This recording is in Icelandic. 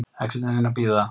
Ekki eftir neinu að bíða